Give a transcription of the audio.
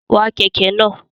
Wa kẹ̀kẹ́ náà!